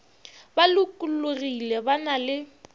ba lokologile ba na le